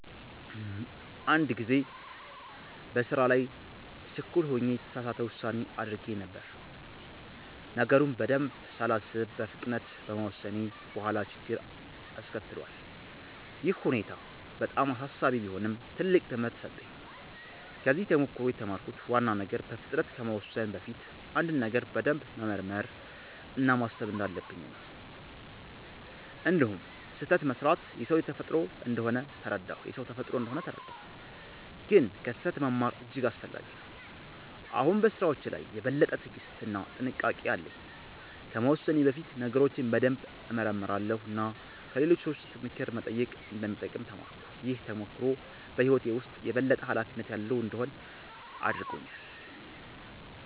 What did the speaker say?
አንድ ጊዜ በስራ ላይ ችኩል ሆኜ የተሳሳት ውሳኔ አድርጌ ነበር። ነገሩን በደንብ ሳላስብ በፍጥነት በመወሰኔ በኋላ ችግር አስከትሏል። ይህ ሁኔታ በጣም አሳሳቢ ቢሆንም ትልቅ ትምህርት ሰጠኝ። ከዚህ ተሞክሮ የተማርኩት ዋና ነገር በፍጥነት ከመወሰን በፊት አንድን ነገር በደንብ መመርመር እና ማሰብ እንዳለብኝ ነው። እንዲሁም ስህተት መስራት የሰው ተፈጥሮ እንደሆነ ተረዳሁ፣ ግን ከስህተት መማር እጅግ አስፈላጊ ነው። አሁን በስራዎቼ ላይ የበለጠ ትዕግስት እና ጥንቃቄ አለኝ። ከመወሰኔ በፊት ነገሮችን በደንብ እመረምራለሁ እና ከሌሎች ሰዎች ምክር መጠየቅ እንደሚጠቅም ተማርኩ። ይህ ተሞክሮ በህይወቴ ውስጥ የበለጠ ኃላፊነት ያለው እንድሆን አድርጎኛል።